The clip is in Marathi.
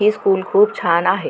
इस स्कूल को छाना है।